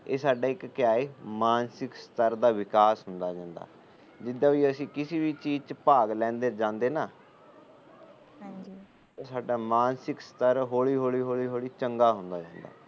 ਇਹ ਇੱਕ ਸਾਡਾ ਕਿਆ ਏ ਮਾਨਸਿਕ ਸਤਰ ਦਾ ਵਿਕਾਸ ਹੁੰਦਾ ਰਹਿੰਦਾ ਜਿਦਾ ਵੀ ਅਸੀ ਕਿਸੇ ਵੀ ਚੀਜ ਚ ਜਾਂਦੇ ਭਾਗ ਲੈਂਦੇ ਨਾ ਉਹ ਸਾਡਾ ਮਾਨਸਿਕ ਸਤਰ ਹੋਲੀ ਹੋਲੀ ਹੋਲੀ ਚੰਗਾ ਹੁੰਦਾ ਰਹਿੰਦਾ